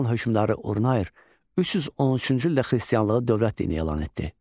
Alban hökmdarı Urnayer 313-cü ildə xristianlığı dövlət dini elan etdi.